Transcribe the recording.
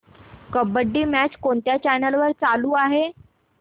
kabaddi match कोणत्या channel वर चालू आहे